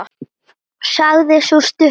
sagði sú stutta.